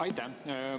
Aitäh!